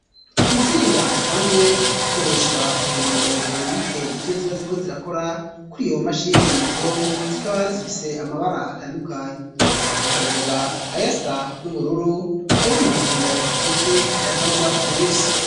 Intsinga zisanzwe zikoreshwa kugirango zirungike ivyo ziba ziriko zirakora kuri iyo mashini nyabwonko, zikaba zifise amabara atandukanye. Aho twavuga ayasa n'ubururu, ay'umuhondo, ndetse n'ayasa n'ubwatsi rubisi.